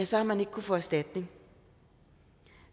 så har man ikke kunnet få erstatning